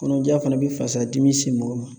Kɔnɔja fana be fasadimi se mɔgɔ ma